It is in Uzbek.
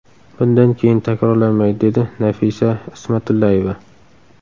Bundan keyin takrorlanmaydi”, dedi Nafisa Ismatullayeva.